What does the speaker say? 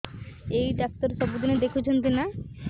ଏଇ ଡ଼ାକ୍ତର ସବୁଦିନେ ଦେଖୁଛନ୍ତି ନା